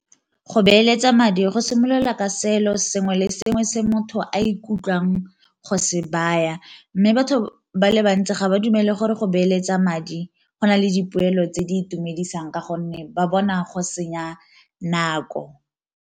Go beeletsa madi go simolola ka seelo sengwe le sengwe se motho a ikutlwang go se baya, mme batho ba le bantsi ga ba dumele gore go beeletsa madi go na le dipoelo tse di itumedisang ka gonne ba bona go senya nako.